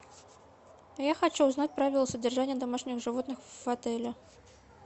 я хочу узнать правила содержания домашних животных в отеле